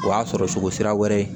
O y'a sɔrɔ cogo sira wɛrɛ ye